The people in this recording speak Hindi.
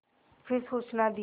फिर सूचना दी